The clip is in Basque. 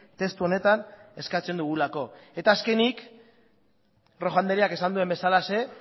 testu honetan eskatzen dugulako eta azkenik rojo andreak esan duen bezalaxe